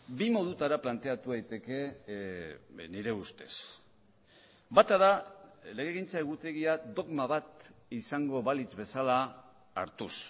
bi modutara planteatu daiteke nire ustez bata da legegintza egutegia dogma bat izango balitz bezala hartuz